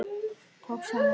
Tókst henni hvað?